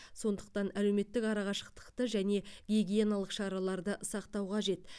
сондықтан әлеуметтік арақашықтықты және гигиеналық шараларды сақтау қажет